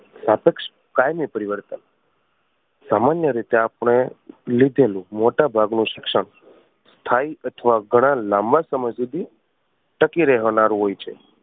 સ્તાપેક્ષ કાયમી પરિવર્તન. સામાન્ય રીતે આપણે લીધેલું મોટા ભાગનું શિક્ષણ સ્થાયી અથવા ઘણા લાંબા સમય સુધી ટકી રહેનારું હોય છે.